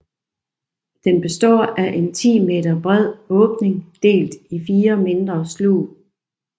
Den består af en 10 m bred åbning delt i 4 mindre slug